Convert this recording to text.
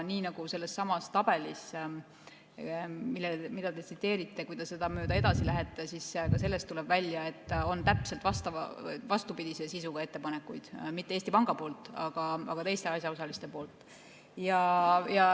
Kui te sedasama tabelit mööda, mida te tsiteerite, edasi lähete, siis näete, et ka sellest tuleb välja, et on täpselt vastupidise sisuga ettepanekuid, mitte Eesti Panga poolt, aga teiste asjaosaliste poolt.